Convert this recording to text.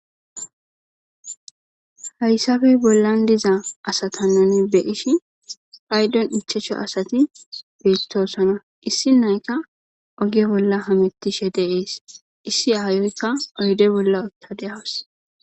haysabey bollan diza asatanan be ishi phaydon ichacho asati beettoosona issi nayka oge bolla hamettishe deees issi aayoykka oyde bolla otta de7awas